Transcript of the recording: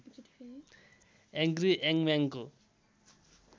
angry यंगम्यानको